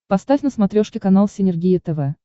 поставь на смотрешке канал синергия тв